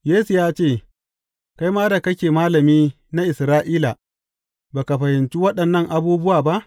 Yesu ya ce, Kai ma da kake malami na Isra’ila, ba ka fahimci waɗannan abubuwa ba?